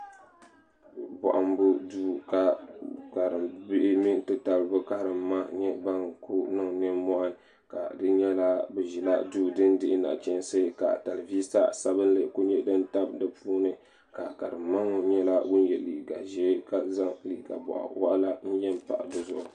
Bɔhimbu duu ka Karim bihi mini n-ti tabili bɛ Karim ma nyɛ ban kuli niŋ ninmɔhi ka di nyɛla bɛ ʒila duu din dihi nachinsi ka talivisa sabinli kuli nyɛ din tabi di puuni ka karim ma ŋɔ nyɛla ŋun ye liiga ʒee ka zaŋ liiga bɔɣ' waɣila n-ye pahi di zuɣu.